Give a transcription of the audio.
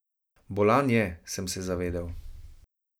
Bolan je, sem se zavedel.